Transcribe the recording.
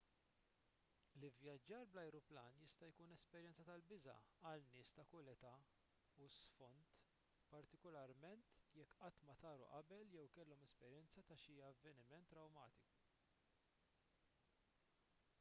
l-ivvjaġġar bl-ajruplan jista' jkun esperjenza tal-biża' għal nies ta' kull età u sfond partikularment jekk qatt ma taru qabel jew kellhom esperjenza ta' xi avveniment trawmatiku